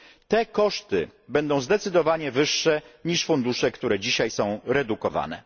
Te koszty będą zdecydowanie wyższe niż fundusze, które dzisiaj są redukowane.